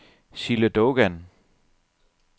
Sille Dogan